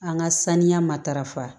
An ka saniya matarafa